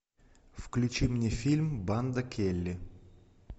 включи мне фильм банда келли